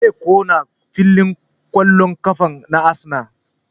Zai ƙona filin ƙwallon ƙafan na Arsenal